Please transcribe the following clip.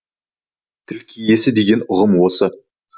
тіл киесі деген ұғым осы